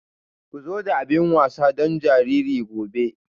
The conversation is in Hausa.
Ku zo da abin wasa don jariri gobe.